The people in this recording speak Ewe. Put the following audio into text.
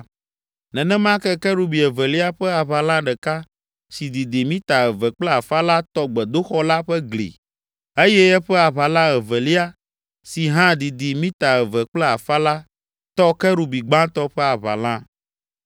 Nenema ke kerubi evelia ƒe aʋala ɖeka, si didi mita eve kple afã la tɔ gbedoxɔ la ƒe gli eye eƒe aʋala evelia, si hã didi mita eve kple afã la, tɔ kerubi gbãtɔ ƒe aʋala.